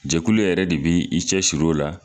Jɛkulu yɛrɛ de bi i cɛ su o la.